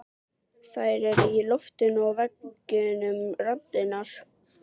Þær eru í loftinu og veggjunum raddirnar.